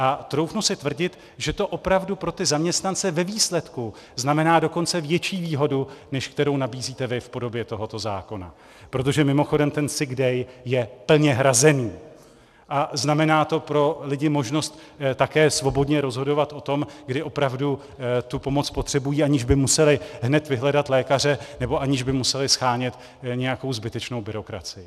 A troufnu si tvrdit, že to opravdu pro ty zaměstnance ve výsledku znamená dokonce větší výhodu, než kterou nabízíte vy v podobě tohoto zákona, protože mimochodem ten sick day je plně hrazený a znamená to pro lidi možnost také svobodně rozhodovat o tom, kdy opravdu tu pomoc potřebují, aniž by museli hned vyhledat lékaře nebo aniž by museli shánět nějakou zbytečnou byrokracii.